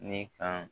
Ne ka